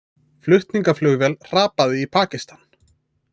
Flutningaflugvél hrapaði í Pakistan